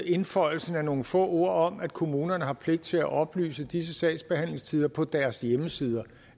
indføjelsen af nogle få ord om at kommunerne har pligt til at oplyse disse sagsbehandlingstider på deres hjemmesider